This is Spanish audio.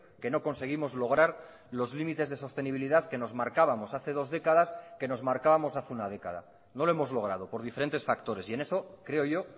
que no conseguimos lograr los límites de sostenibilidad que nos marcábamos hace dos décadas que nos marcábamos hace una década no lo hemos logrado por diferentes factores y en eso creo yo